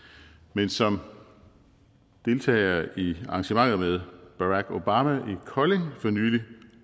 men som deltagere i arrangementet med barack obama i kolding for nylig